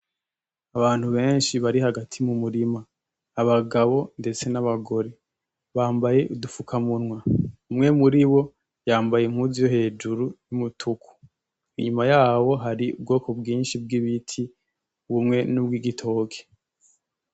Abantu benshi bari hagati mumurima abagabo ndetse n'abagore bambaye udufukamunwa umwe muribo yambaye impuzu yohejuru yumutuku inyuma yabo hari ubwoko bwinshi bw'ibiti bumwe nubwigitoki.